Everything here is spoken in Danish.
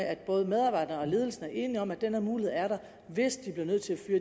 at både medarbejderne og ledelsen er enige om at den mulighed er der hvis de bliver nødt til at fyre